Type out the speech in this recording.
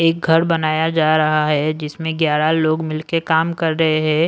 एक घर बनाया जा रहा है जिसमें ग्यारह लोग मिलकर काम कर रहे हैं।